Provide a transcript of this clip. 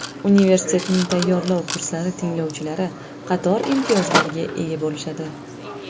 Universitetning tayyorlov kurslari tinglovchilari qator imtiyozlarga ega bo‘lishadi.